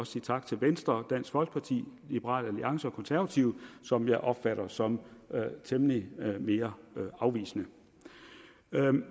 sige tak til venstre dansk folkeparti liberal alliance og konservative som jeg opfatter som temmelig mere afvisende